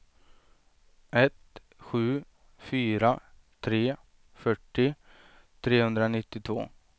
ett sju fyra tre fyrtio trehundranittiotvå